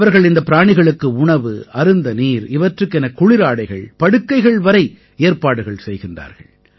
அவர்கள் இந்தப் பிராணிகளுக்கு உணவு அருந்த நீர் இவற்றுக்கென குளிராடைகள் படுக்கைகள் வரை ஏற்பாடுகள் செய்கிறார்கள்